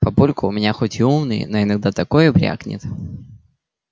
папулька у меня хоть и умный но иногда такое брякнет